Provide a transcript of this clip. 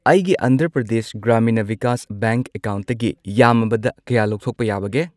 ꯑꯩꯒꯤ ꯑꯟꯙ꯭ꯔ ꯄ꯭ꯔꯗꯦꯁ ꯒ꯭ꯔꯥꯃꯤꯅꯥ ꯚꯤꯀꯥꯁ ꯕꯦꯡꯛ ꯑꯦꯀꯥꯎꯟꯠꯇꯒꯤ ꯌꯥꯝꯃꯕꯗ ꯀꯌꯥ ꯂꯧꯊꯣꯛꯄ ꯌꯥꯕꯒꯦ ?